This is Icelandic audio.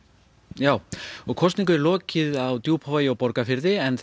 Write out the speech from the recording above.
já og kosningu er lokið í Djúpavogi og Borgarfirði en